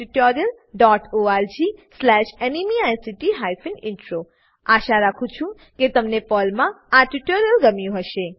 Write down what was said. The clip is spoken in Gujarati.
httpspoken tutorialorgNMEICT Intro આશા રાખું છું કે તમને આ પર્લ ટ્યુટોરીયલ ગમ્યું હશે